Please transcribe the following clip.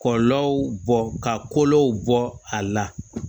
Kɔlɔlɔw bɔ ka kolow bɔ a la